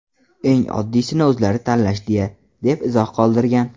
Eng oddiysini o‘zlari tanlashdi-ya”, deb izoh qoldirgan .